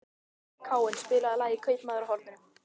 Káinn, spilaðu lagið „Kaupmaðurinn á horninu“.